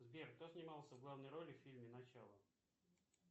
сбер кто снимался в главной роли в фильме начало